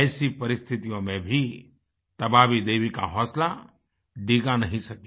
ऐसी परिस्थितियों में भी तबाबी देवी का हौसला डिगा नहीं सकी